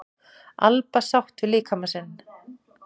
Alba sátt við líkama sinn